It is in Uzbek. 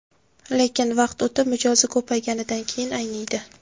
Lekin vaqt o‘tib, mijozi ko‘payganidan keyin ayniydi.